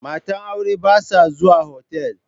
Matan aure ba sa zuwa otal.